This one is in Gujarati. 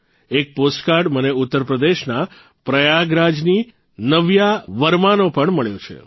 એક પોસ્ટકાર્ડ મને ઉત્તરપ્રદેશના પ્રયાગરાજની નવ્યા વર્માનો પણ મળ્યો છે